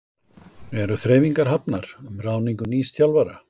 Eru þreifingar hafnar um ráðningu nýs þjálfara?